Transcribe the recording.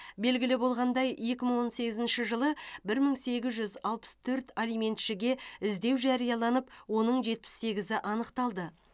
белгілі болғандай екі мың он сегізінші жылы бір мың сегіз жүз алпыс төрт алиментшіге іздеу жарияланып оның жетпіс сегізі анықталды